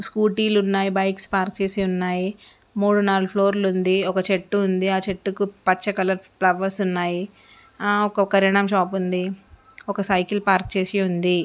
Scooty లున్నాయి bikes park చేసి ఉన్నాయి. మూడు నాలుగు ఫ్లోర్ లుంది ఒక చెట్టు ఉంది. ఆ చెట్టుకు పచ్చ కలర్ ఫ్లవర్స్ ఉన్నాయి. ఆ ఒక కిరానా షాప్ ఉంది. ఒక సైకిల్ పార్క్ చేసి ఉంది.